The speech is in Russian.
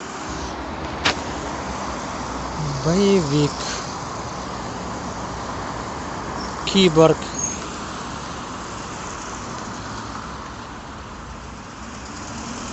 боевик киборг